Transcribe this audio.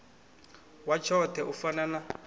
wa tshoṱhe u fana na